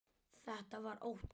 Þetta var ótti.